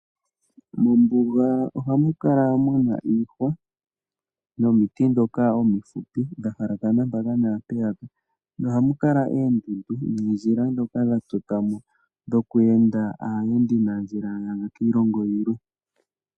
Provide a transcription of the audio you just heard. Mombuga ohamu kala muna iihwa nomiti ndhoka omihupi dha halakana mpaka naampeyaka. Ohamu kala oondundu noondjila ndhoka dha totwamo dho ku enda aayendi nandjila yaza kiilongo yilwe.